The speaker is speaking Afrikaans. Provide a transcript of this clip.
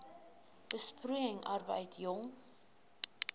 besproeiing arbeid jong